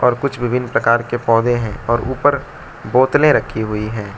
और कुछ विभिन्न प्रकार के पौधे हैं और ऊपर बोतलें रखी हुई हैं।